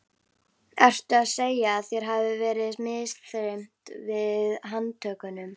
Ertu að segja að þér hafi verið misþyrmt við handtökuna?